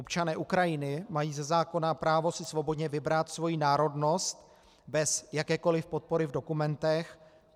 Občané Ukrajiny mají ze zákona právo si svobodně vybrat svoji národnost bez jakékoli podpory v dokumentech.